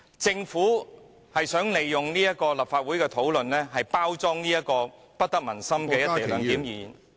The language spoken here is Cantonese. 政府想利用立法會的討論，包裝這項不得民心的"一地兩檢"議案......